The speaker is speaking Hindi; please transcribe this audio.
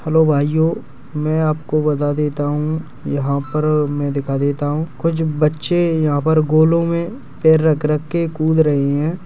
हेलो भाइयों मैं आपको बता देता हूं यहां पर मैं दिखा देता हूँ कुछ बच्चे यहां पर गोलों में पैर रख रख के कूद रहे हैं।